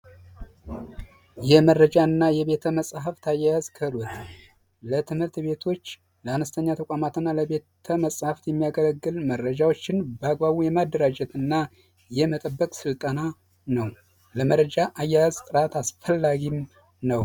የመረጃ እና የቤተ መፅሀፍት አያያዝ ክህሎት ለትምህርት ቤቶች ለአነስተኛ ተቋማት እና ለቤተ መፅሀፍት የሚያገለግል መረጃዎችን በአግባቡ የማደራጀት እና የመጠበቅ ስልጠና ነው። ለመረጃ አያያዝ ጥራት አስፈላጊም ነው።